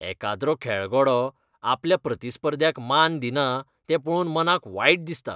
एकाद्रो खेळगडो आपल्या प्रतिस्पर्ध्याक मान दिना तें पळोवन मनाक वायट दिसता.